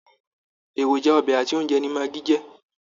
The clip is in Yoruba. Èròjà ọbẹ àti oúnjẹ ni magi jẹ.